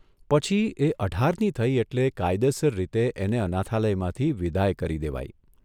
પછી એ અઢારની થઇ એટલે કાયદેસર રીતે એને અનાથાલયમાંથી વિદાય કરી દેવાઇ.